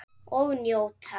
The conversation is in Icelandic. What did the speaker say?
Og njóta.